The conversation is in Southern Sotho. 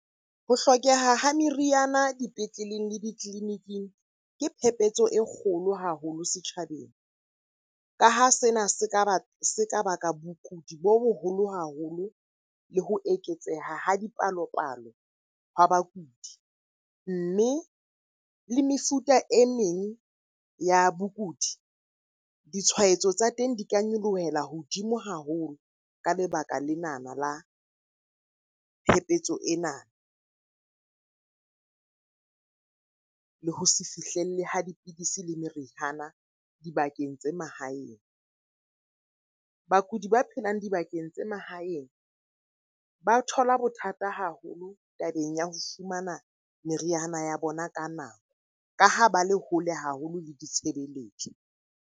Ho hlokeha ha meriana dipetleleng le ditleliniking ke phepetso e kgolo haholo setjhabeng. Ka ha sena se ka baka bokudi bo boholo haholo le ho eketseha ha dipalopalo hwa bakudi. Mme le mefuta e meng ya bokudi, ditshwaetso tsa teng di ka nyolohela hodimo haholo ka lebaka lenana la phephetso ena. Le ho se fihlelle ho dipidisi le merihana dibakeng tse mahaeng. Bakudi ba phelang dibakeng tsa mahaeng ba thola bothata haholo tabeng ya ho fumana meriana ya bona ka nako, ka ha ba le hole haholo le ditshebeletso.